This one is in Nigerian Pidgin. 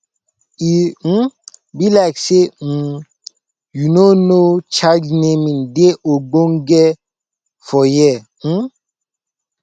e um be like say um you no know child naming dey ogbonge for here um